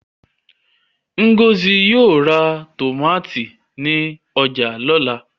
Ngozi yóò ra tòmátì ní ọjà lọ́la.